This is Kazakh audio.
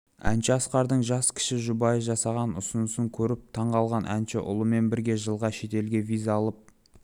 әнші асқардың жас кіші жұбайына жасаған ұсынысын көріп таңғалған әнші ұлымен бірге жылға шетелге виза алып